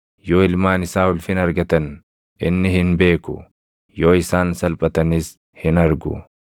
Yoo ilmaan isaa ulfina argatan inni hin beeku; yoo isaan salphatanis hin argu.